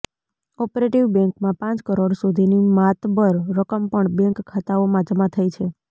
operative બેન્કમાં પાંચ કરોડ સુધીની માતબર રકમ પણ બેન્ક ખાતાઓમાં જમા થઈ છે